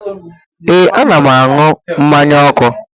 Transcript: Ee, a na'm anụ mmanye ọku